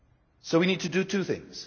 So we need to do two things.